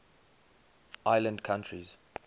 island countries